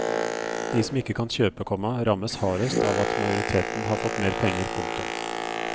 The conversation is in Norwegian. De som ikke kan kjøpe, komma rammes hardest av at majoriteten har fått mer penger. punktum